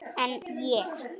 En ég.